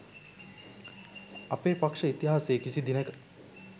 අපේ පක්ෂ ඉතිහාසයේ කිසි දිනෙක